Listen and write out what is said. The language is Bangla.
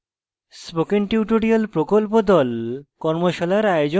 spoken tutorial প্রকল্প the কর্মশালার আয়োজন করে